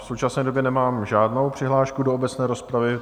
V současné době nemám žádnou přihlášku do obecné rozpravy.